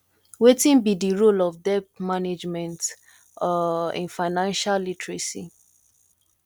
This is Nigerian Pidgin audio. wetin be di role of debt management um in financial literacy